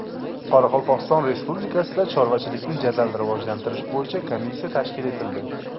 Qoraqalpog‘iston Respublikasida chorvachilikni jadal rivojlantirish bo‘yicha komissiya tashkil etildi.